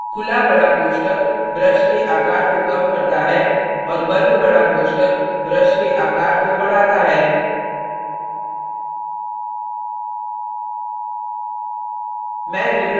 खुला बड़ा कोष्ठक brush के आकार को कम करता है और बंद बड़ा कोष्ठक brush के आकार को बढ़ाता है